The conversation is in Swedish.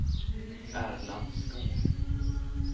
Erland Skog